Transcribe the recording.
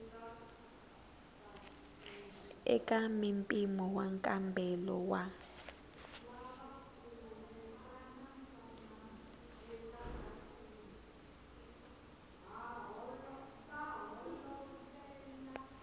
eka mimpimo wa nkambelo wa